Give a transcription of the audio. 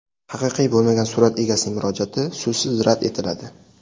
Haqiqiy bo‘lmagan surat egasining murojaati so‘zsiz rad etiladi.